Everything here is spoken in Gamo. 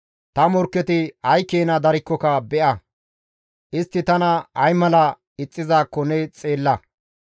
Ta morkketi ay keena daridaakko ne be7a; istti tana ay mala ixxizaakko ne xeella.